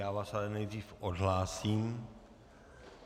Já vás ale nejdřív odhlásím.